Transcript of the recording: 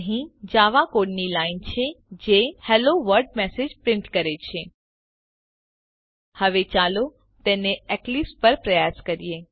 અહીં જાવા કોડની લાઈન છે જે હેલ્લો વર્લ્ડ મેસેજ પ્રીંટ કરે છે હવે ચાલો તેને એક્લીપ્સ પર પ્રયાસ કરીએ